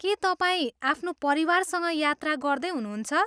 के तपाईँ आफ्नो परिवारसँग यात्रा गर्दै हुनुहुन्छ?